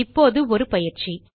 இப்போது ஒரு பயிற்சி